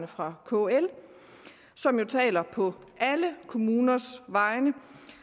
fra kl som jo taler på alle kommuners vegne